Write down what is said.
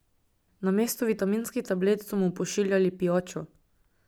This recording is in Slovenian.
Namesto vitaminskih tablet, so mu pošiljali pijačo ...